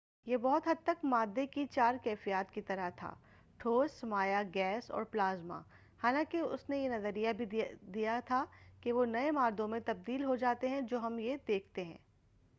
یہ بہت حد تک مادّے کی چار کیفیات کی طرح تھا ٹھوس مائع گیس اور پلازما حالانکہ اُس نے یہ نظریہ بھی دیا کہا کہ وہ نئے مادّوں میں تبدیل ہوجاتے ہیں جو ہم دیکھتے ہیں